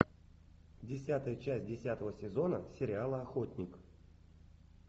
десятая часть десятого сезона сериала охотник